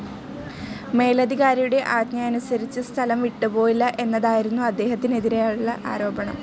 മേലധികാരിയുടെ ആജ്ഞയനുസരിച്ച് സ്ഥലം വിട്ടുപോയില്ല എന്നതായിരുന്നു അദ്ദേഹത്തിനെതിരായുള്ള ആരോപണം.